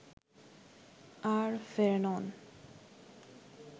আর ফেরেনন